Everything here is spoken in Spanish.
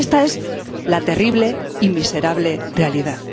Y esta es la terrible y miserable realidad.